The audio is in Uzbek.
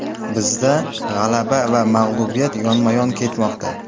Bizda g‘alaba va mag‘lubiyat yonma-yon ketmoqda.